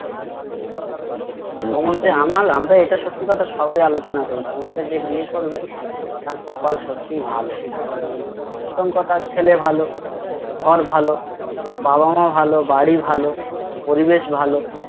আমরা এটা সত্যি কথা সবাই আলোচনা করি তোমাকে যে বিয়ে করবে তার কপাল সত্যিই ভালো মানে প্রথম কথা ছেলে ভালো ঘর ভালো বাবামাও ভালো বারিভালো পরিবেশ ভালো